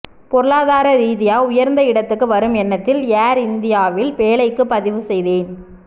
பொருளாதார ரீதியா உயர்ந்த இடத்துக்கு வரும் எண்ணத்தில் ஏர் இந்தியாவில் வேலைக்குப் பதிவுசெய்தேன்